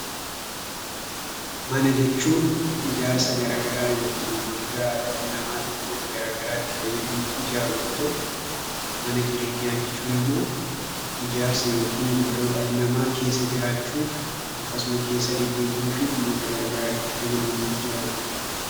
Mana jechuun ijaarsa garaa garaa yookin golgaa dhalli namaa dhimmoota gara garaa itti fayyadamuuf ijaaru yoo ta'u mana jireenyaa jechuun immoo ijaarsa yookin godoo dhalli namaa keessa jiraachuuf akkasuma keessa deddeebi'uu fi dhimmoota gara garaaf itti fayyadamuuf ijaarudha.